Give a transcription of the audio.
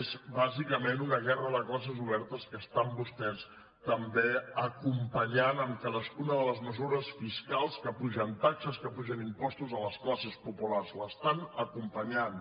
és bàsicament una guerra de classes oberta que estan vostès també acompanyant amb cadascuna de les mesures fiscals que apugen tasques que apugen impostos a les classes populars l’estan acompanyant